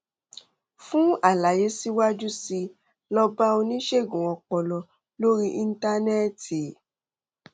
fún àlàyé síwájú sí i lọ bá oníṣègùn ọpọlọ lórí íńtánẹẹtì